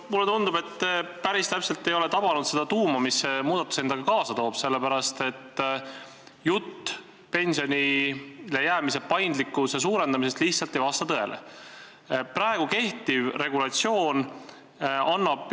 Mulle tundub, et te päris täpselt ei ole tabanud seda tuuma, mis see muudatus endaga kaasa toob, sellepärast et jutt pensionile jäämise paindlikkuse suurendamisest ei vasta lihtsalt tõele.